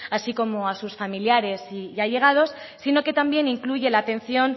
así como a sus familiares y allegados sino que también incluye la atención